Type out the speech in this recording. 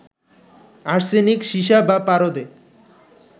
arsenic, সীসা বা পারদে